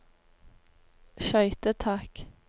skøytetak